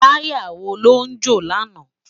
Tàyá wó ló jó làná?